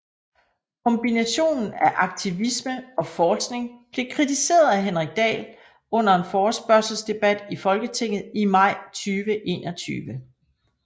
Kombinationen af aktivisme og forskning blev kritiseret af Henrik Dahl under en forespørgselsdebat i Folketinget i maj 2021